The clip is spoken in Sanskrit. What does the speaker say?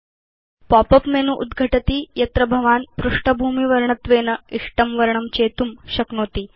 पॉप उप् मेनु उद्घटति यत्र भवान् पृष्ठभूमिवर्णत्वेन इष्टं वर्णं चेतुं शक्नोति